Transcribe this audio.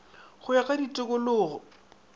go ya go ka ditikologo